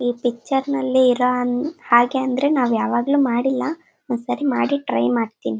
ಈ ಪಿಕ್ಚರ್ ನಲ್ಲಿ ಇರೋ ಹಾಗೆ ಅಂದರೆ ನಾವ್ ಯಾವಾಗ್ಲೂ ಮಾಡ್ಲಿಲ್ಲ ಒಂದ್ಸಲ ಮಾಡಿ ಟ್ರೈ ಮಾಡ್ತೀನಿ.